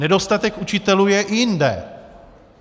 Nedostatek učitelů je i jinde.